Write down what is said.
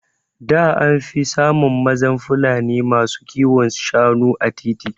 Da anfi samun mazan Fulani masu kiwon Shanu a titi